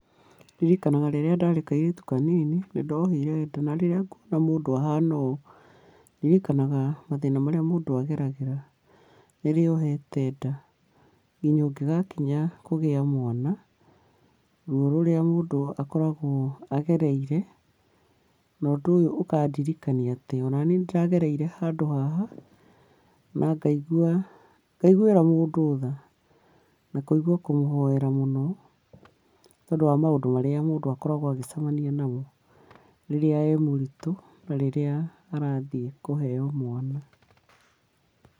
Ndirikanaga rĩrĩa ndarĩ kairĩtu kanini, nĩndohire nda na rĩrĩa nguona mũndũ ahana ũũ, ndirikanaga mathĩna marĩa mũndũ ageragĩra rĩrĩa ohete nda, nginya ũngĩgakinya kũgĩa mwana, ruo rũrĩa mũndũ akoragwo agereire, na ũndũ ũyũ ũkandirikania atĩ onaniĩ nĩndagereire handũ haha, na ngaigua, ngaiguĩra mũndũ tha, na kũigua kũmũhoera mũno nĩ tondũ wa maũndũ marĩa mũndũ akoragwo agĩcemania namo, rĩrĩa e mũritũ na rĩrĩa arathiĩ kũheo mwana.